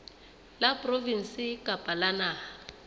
la provinse kapa la naha